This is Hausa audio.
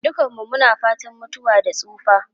Dukanmu muna fatan mutuwa da tsufa.